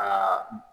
Aa